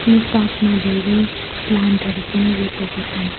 यो पार्कमा धेरै प्लान्टहरु पनि रोपेको छन्।